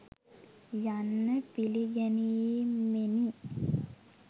යන්න පිළිගැනීමෙනි